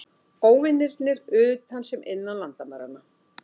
Óvinirnir utan sem innan landamæranna.